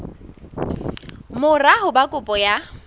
mora ho ba kopo ya